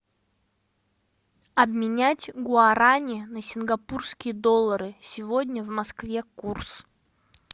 обменять гуарани на сингапурские доллары сегодня в москве курс